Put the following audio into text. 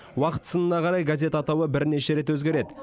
уақыт сынына қарай газет атауы бірнеше рет өзгереді